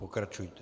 Pokračujte.